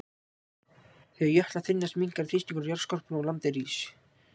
Þegar jöklar þynnast minnkar þrýstingur á jarðskorpuna og landið rís.